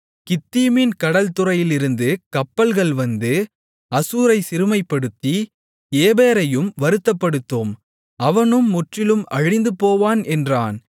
கித்தீமின் கடல் துறையிலிருந்து கப்பல்கள் வந்து அசூரைச் சிறுமைப்படுத்தி ஏபேரையும் வருத்தப்படுத்தும் அவனும் முற்றிலும் அழிந்துபோவான் என்றான்